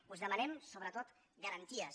us demanem sobretot garanties